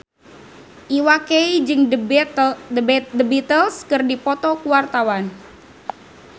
Iwa K jeung The Beatles keur dipoto ku wartawan